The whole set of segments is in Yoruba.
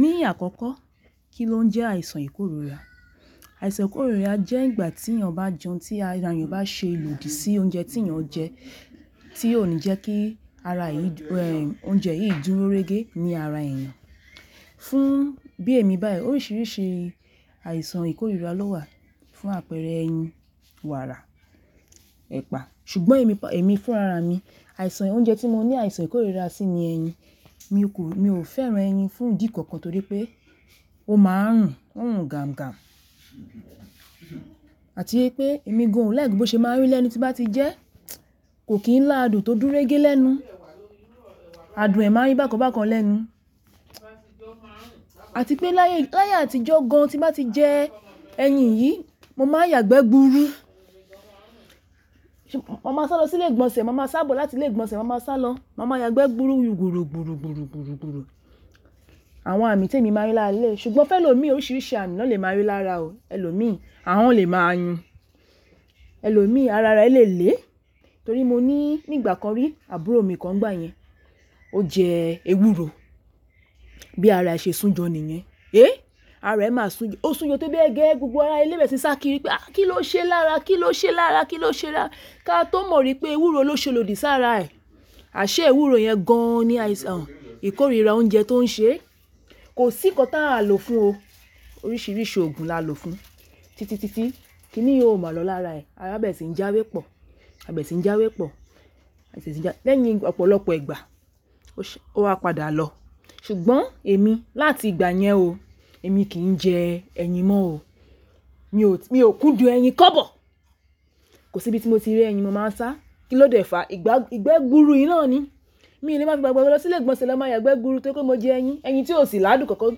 Ní àkọ́kọ́, kí ló ń jẹ́ àìsàn ìkóríra? Àìsàn ìkóríra jẹ́ ìgbà tí èèyàn bá jẹun tí ara èèyàn bá ṣe ilòdì sí oúnjẹ tí èèyàn jẹ, tí ó ní jẹ́ kí ara èyí, oúnjẹ yìí dúró régé ní ara èèyàn. Fún bí èmi báyìí, oríṣiríṣi àìsàn ìkóríra ló wà fún àpẹẹrẹ ẹyin, wàrà, ẹ̀pà. Ṣùgbọ́n èmi, èmi fún ara mi, àìsàn oúnjẹ tí mo ní àìsàn ìkóríra sí ni ẹyin. Mi kó, mi ò fẹ́ran ẹyin fún ìdí kankan torí pé ó máa ń rùn, ó ń rùn gaǹ gaǹ àti pé èmi gan ó like bó ṣe máa ń rí lẹ́nu tí bá ti jẹ́, kò kí n lá adùn tó dú régé lẹ́nu. Adùn ẹ̀ máa ń yi bákan bákan lẹ́nu. Àti pé láyé, láyé àtijọ́ gan an tí bá ti jẹ ẹyin yìí, mo máa yàgbẹ́ gburu. Ma máa sá lọ sílè ìgbọ̀nsẹ̀, ma máa sá bò láti lé ìgbọ̀nsẹ̀, ma máa sá lọ, ma máa yàgbẹ́ gburu gburù gburù gburù gburù gburù. Àwọn àmì tí èmi máa rí lára lẹ́, ṣùgbọ́n fẹ́ lọ̀ mí oríṣiríṣi àmì náà lè máa rí lára o, ẹlọ̀mi, ahun lè máa yu Ẹ̀lọ̀mi, ara rẹ̀ lè le torí mo ní nígbà kan rí àbúrò mi kan ngbà yẹn, ó jẹ ewúro bí ara ẹ ṣe sún jọ níyẹn. Ara ẹ̀ máa sún, ó sún jọ tó bẹ gẹ, gbogbo ara ilé bèèrè sí sá kiri pé à kí ló ṣe lára? Kí ló ṣe lára? Kí ló ṣe lára? Ka tó mọ̀ rí pé ewúro ló ṣe lòdì sá ara ẹ̀. Àṣẹ ewúro yẹn gan an ni àìsàn, ìkóríra oúnjẹ tó ń ṣe. Kò sí nǹkan táa lò fún o. Oríṣiríṣi ògùn la lò fún. Títí títí kí nìyí ó máa lọ lára ẹ̀. Ará bè sì ń jáwé pọ̀, àbẹ̀ sì ń jáwé pọ̀, léyìn ọ̀pọ̀lọpọ̀ ìgbà, ó ṣe, ó wa padà lọ. Ṣùgbọ́n èmi láti ìgbà yẹn o, èmi kì í jẹ ẹyin mọ́ o. Mi ò, mi ò kúndùn ẹyin kọ́bọ̀. Kò sí ibi tí mo ti rí ẹyin mo máa ń sá. Kí ló dé fàá? Ìgbà, ìgbẹ́ gburu yìí náà ni. Mi ò le máa fi gba gbogbo lọ sílè ìgbọ̀nsẹ̀ lọ máa yàgbẹ́ gburu tó rí pe mo jẹ ẹyin, ẹyin tí ò sì lá adùn kankan,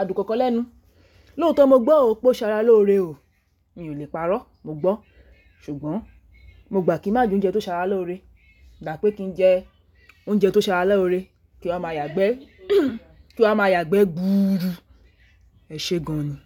adùn kankan lẹ́nu. Lóòótọ́ mo gbọ́ o pé ó ṣara lóore o. Mi ò lè parọ́, mo gbọ́. Ṣùgbọ́n mo gbà kí má jé oúnjẹ tó ṣara lóore. Gba pé kí njẹ oúnjẹ tó ṣara lóore, kí wa máa yàgbẹ́, kí wa máa yàgbẹ́ gburu. Ẹ̀ṣẹ̀ gan an ni.